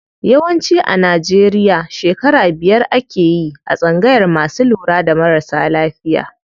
Yawanci a Najeriya shekara biyar akeyi a tsangayar masu lura da marasa lafiya.